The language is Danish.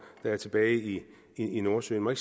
der er tilbage i i nordsøen må